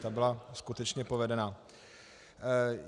Ta byla skutečně povedená.